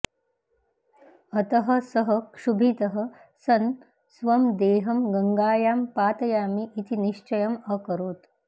अतः सः क्षुभितः सन् स्वं देहं गङ्गायां पातयामि इति निश्चयम् अकरोत्